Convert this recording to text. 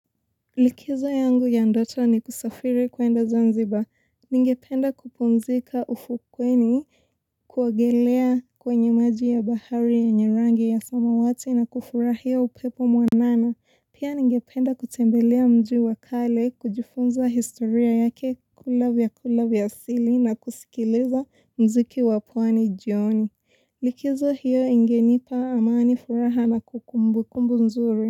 Likizo yangu ya ndoto ni kusafiri kuenda Zanzibar. Ningependa kupumzika ufukweni, kuogelea kwenye maji ya bahari yenye rangi ya samawati na kufurahia upepo mwanana. Pia ningependa kutembelea mji wa kale, kujifunza historia yake, kula vyakula vya asili na kusikiliza muziki wa pwani jioni. Likizo hiyo ingenipa amani, furaha na kumbukumbu nzuri.